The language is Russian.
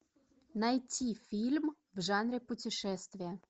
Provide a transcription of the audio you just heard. найти фильм в жанре путешествие